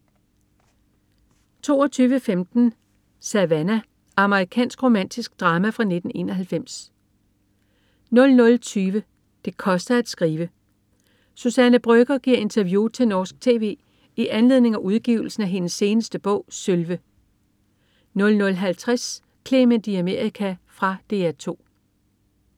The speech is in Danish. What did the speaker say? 22.15 Savannah. Amerikansk romantisk drama fra 1991 00.20 Det koster at skrive. Suzanne Brøgger, giver interview til norsk tv i anledning af udgivelsen af hendes seneste bog "Sølve" 00.50 Clement i Amerika. Fra DR 2